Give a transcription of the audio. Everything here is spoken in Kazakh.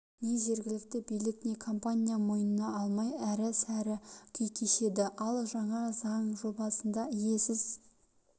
не жергілікті билік не компания мойнына алмай әрі-сәрі күй кешеді ал жаңа заң жобасында иесіз